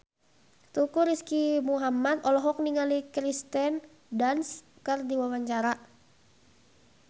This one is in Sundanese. Teuku Rizky Muhammad olohok ningali Kirsten Dunst keur diwawancara